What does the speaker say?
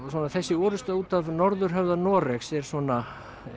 þessi orrusta út af norðurhöfða Noregs er svona